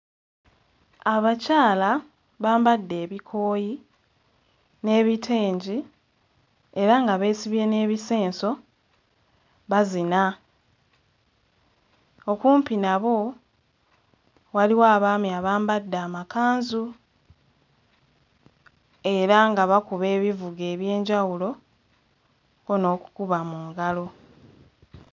Abakyala bambadde ebikooyi n'ebitengi era nga beesibye n'ebisenso bazina, okumpi nabo waliwo abaami abambadde amakanzu era nga bakuba ebivuga eby'enjawulo ko n'okukuba mu ngalo.